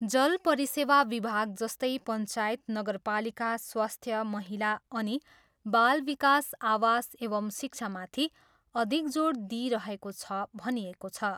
जल परिसेवा विभाग जस्तै पञ्चायत, नगरपालिका, स्वास्थ्य, महिला अनि बालविकास, आवास एवं शिक्षामाथि अधिक जोड दिइरहेको छ भनिएको छ।